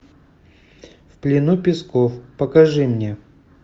в плену песков покажи мне